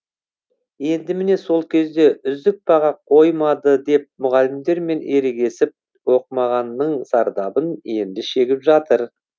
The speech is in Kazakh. енді міне сол кезде үздік баға қоймады деп мұғалімдермен ерегесіп оқымағанның зардабын енді шегіп жатыр